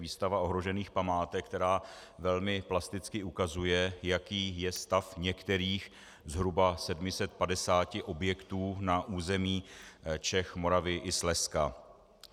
Výstava ohrožených památek, která velmi plasticky ukazuje, jaký je stav některých zhruba 750 objektů na území Čech, Moravy i Slezska.